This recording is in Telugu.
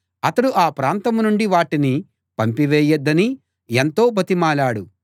అతడు ఆ ప్రాంతం నుండి వాటిని పంపివేయవద్దని ఎంతో బతిమాలాడు